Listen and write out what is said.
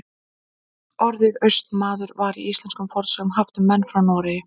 Orðið Austmaður var í íslenskum fornsögum haft um menn frá Noregi.